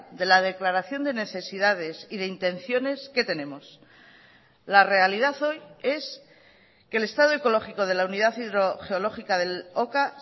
de la declaración de necesidades y de intenciones qué tenemos la realidad hoy es que el estado ecológico de la unidad hidrogeológica del oka